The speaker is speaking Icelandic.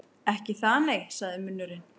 Ekki það, nei, sagði munnurinn.